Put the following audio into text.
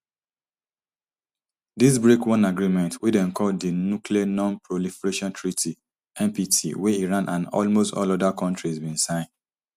dis break one agreement wey dem call di nuclear nonproliferation treaty npt wey iran and almost all oda kontris bin sign